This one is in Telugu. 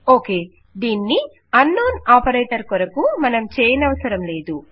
ఓకే దీనిని అన్నోన్ ఆపరేటర్ కొరకు మనం చేయనవసరం లేదు